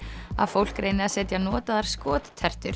að fólk reyni að setja notaðar